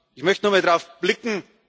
da. Ich möchte nochmal darauf blicken.